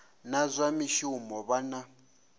na zwa mishumo vha na